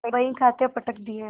बहीखाते पटक दिये